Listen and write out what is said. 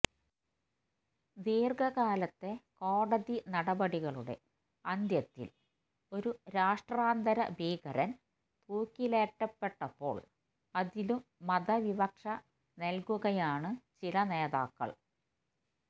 ദീര്ഘകാലത്തെ കോടതി നടപടികളുടെ അന്ത്യത്തില് ഒരു രാഷ്ട്രാന്തര ഭീകരന് തൂക്കിലേറ്റപ്പെട്ടപ്പോള് അതിലും മത വിവക്ഷ നല്കുകയാണ് ചില നേതാക്കള്